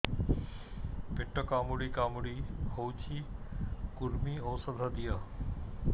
ପେଟ କାମୁଡି କାମୁଡି ହଉଚି କୂର୍ମୀ ଔଷଧ ଦିଅ